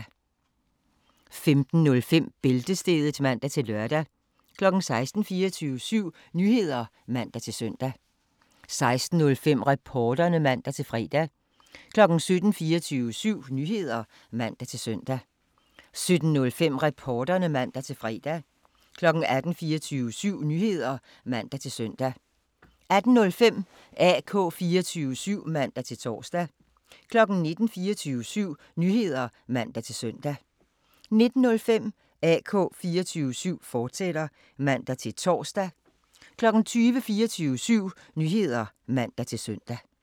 15:05: Bæltestedet (man-lør) 16:00: 24syv Nyheder (man-søn) 16:05: Reporterne (man-fre) 17:00: 24syv Nyheder (man-søn) 17:05: Reporterne (man-fre) 18:00: 24syv Nyheder (man-søn) 18:05: AK 24syv (man-tor) 19:00: 24syv Nyheder (man-søn) 19:05: AK 24syv, fortsat (man-tor) 20:00: 24syv Nyheder (man-søn)